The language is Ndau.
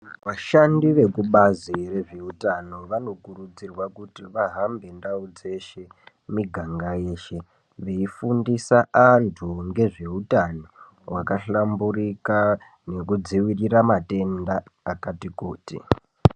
Vashandi vekubazi rezvehutano vanokurudzirwa kuti vahambe ndau dzeshe miganga yeshe veifundisa antu ngezvehutano zvabahlamburuka nekudzivirira matenda akati kuti.